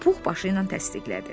Pux başı ilə təsdiqlədi.